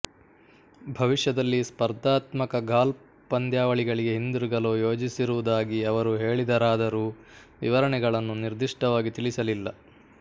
ಭವಿಷ್ಯದಲ್ಲಿ ಸ್ಪರ್ಧಾತ್ಮಕ ಗಾಲ್ಫ್ ಪಂದ್ಯಾವಳಿಗೆ ಹಿಂದಿರುಗಲು ಯೋಜಿಸಿರುವುದಾಗಿ ಅವರು ಹೇಳಿದರಾದರೂ ವಿವರಣೆಗಳನ್ನು ನಿರ್ದಿಷ್ಟವಾಗಿ ತಿಳಿಸಲಿಲ್ಲ